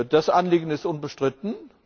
Das Anliegen ist unbestritten.